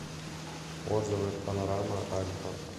отзывы панорама альфа